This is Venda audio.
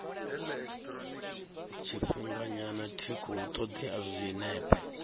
tshifhinganyana tic hu ṱoḓea zwinepe